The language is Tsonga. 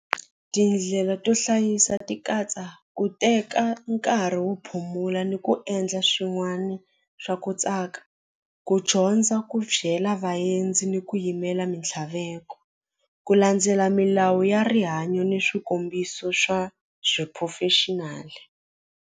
Tindlela to hlayisa ti katsa ku teka nkarhi wo phumula ni ku endla swin'wana swa ku tsaka ku dyondza ku byela vaendzi ni ku yimela mintlhaveko ku landzela milawu ya rihanyo ni swikombiso swa swiphurofexinali.